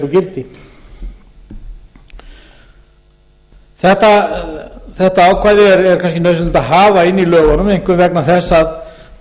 úr gildi þetta ákvæði er kannski nauðsynlegt að hafa inni í lögunum einkum vegna þess að